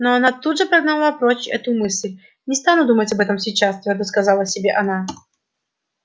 но она тут же прогнала прочь эту мысль не стану думать об этом сейчас твёрдо сказала себе она